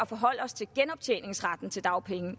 forholde os til genoptjeningsretten til dagpenge